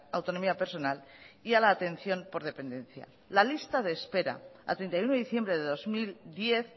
autonomía personal y a la atención por dependencia la lista de espera a treinta y uno de diciembre de dos mil diez